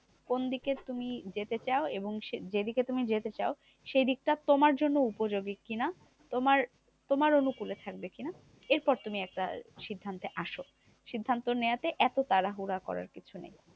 কোনদিকে তুমি যেতে চাও? এবং যেদিকে তুমি যেতে চাও, সেদিকটা তোমার জন্য উপযোগী কি না? তোমার তোমার অনুকূলে থাকবে কি না? এরপর তুমি একটা সিদ্ধান্তে আসো। সিদ্ধান্ত নেওয়াতে এত তাড়াহুড়া করার কিছু নেই।